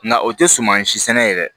Nka o tɛ sumansi sɛnɛ yɛrɛ